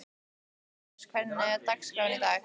Móses, hvernig er dagskráin í dag?